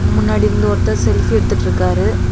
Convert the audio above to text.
முன்னாடி இருந்த ஒருத்தர் செல்ஃபி எடுத்துட்டிருக்காரு.